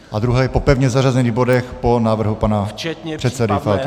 A druhá je po pevně zařazených bodech, po návrhu pana předsedy Faltýnka.